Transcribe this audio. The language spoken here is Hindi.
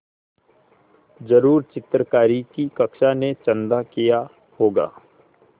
ज़रूर चित्रकारी की कक्षा ने चंदा किया होगा